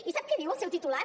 i sap què diu el seu titular